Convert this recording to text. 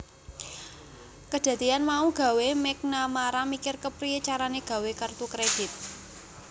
Kedadeyan mau gawé McNamara mikir kepriye carane gawé kertu kredit